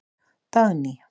Dagný